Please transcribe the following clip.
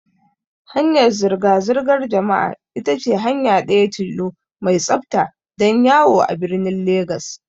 Hanyar zirga zirgar jama'a ita ce hanya ɗaya tilo mai tsafta don yawo a birnin Legas.